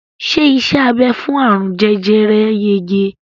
Ṣé iṣẹ́ abẹ fún àrùn jẹjẹrẹ yege?